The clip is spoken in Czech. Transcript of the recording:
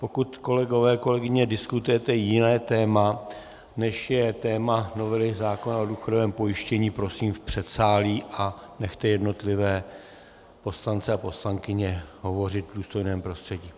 Pokud, kolegové, kolegyně, diskutujete jiné téma, než je téma novely zákona o důchodovém pojištění, prosím v předsálí a nechte jednotlivé poslance a poslankyně hovořit v důstojném prostředí.